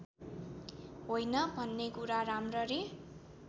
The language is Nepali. होइन भन्नेकुरा राम्ररी